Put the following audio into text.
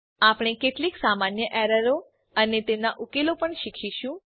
આપણે કેટલીક સામાન્ય એરરો અને તેમનાં ઉકેલો પણ જોઈશું